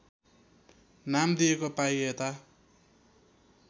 नाम दिएको पाइएता